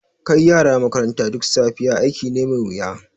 Kai yara makaranta duk safiya aiki ne mai wuya.